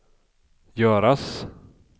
göras